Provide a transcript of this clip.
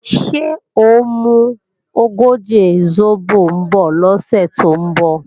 Ṣé ò ń mú ogóje sóbò bọ̀ lọ́sẹ̀ tó ń bọ̀?